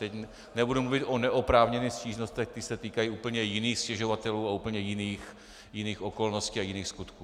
Teď nebudu mluvit o neoprávněných stížnostech, ty se týkají úplně jiných stěžovatelů a úplně jiných okolností a jiných skutků.